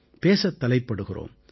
பேசத் தலைப்படுகிறோம்